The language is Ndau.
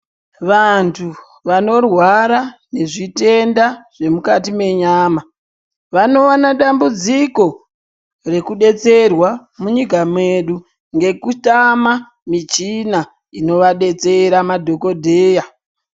Vantu vanorwara neZvitenda zvemukati mwenyama vanowana dambudziko rekudetserwa munyika mwedu ngekutama muchina inovadetsera madhokodheya.